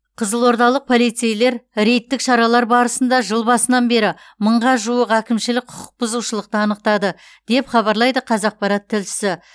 қызылордалық полицейлер рейдтік шаралар барысында жыл басынан бері мыңға жуық әкімшілік құқық бұзушылықты анықтады деп хабарлайды қазақпарат тілшісі